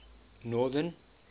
northern